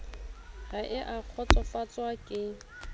ha e a kgotsofatswa ke